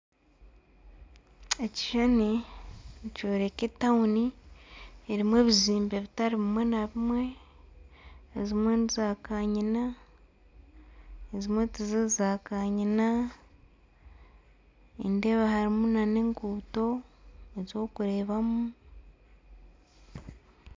Ekishushani nikyoreka etawuni erimu ebizimbe bitari bimwe na bimwe. Ezimwe ni zaakanyina ezimwe tiziri zaakanyina. Nindeeba harimu n'enguuto ez'okureebamu.